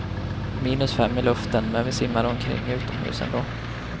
Minus fem i luften, men vi simmade omkring utomhus ändå.